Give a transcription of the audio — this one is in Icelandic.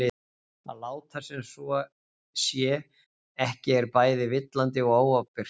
Að láta sem svo sé ekki er bæði villandi og óábyrgt.